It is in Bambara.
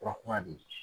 Furakuma bɛ yen